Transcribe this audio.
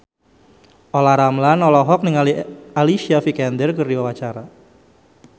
Olla Ramlan olohok ningali Alicia Vikander keur diwawancara